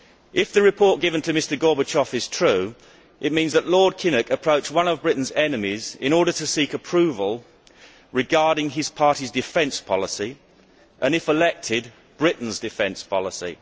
If the report given to Mr Gorbachev is true, it means that Lord Kinnock approached one of Britain's enemies in order to seek approval regarding his party's defence policy and, if elected, Britain's defence policy.